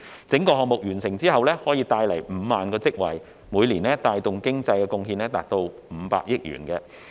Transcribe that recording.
整個項目完成後可帶來5萬個職位，每年帶動的經濟貢獻達500億元。